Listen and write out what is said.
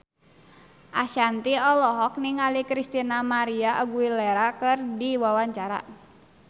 Ashanti olohok ningali Christina María Aguilera keur diwawancara